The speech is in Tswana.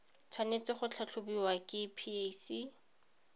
tshwanetse go tlhatlhobiwa ke pac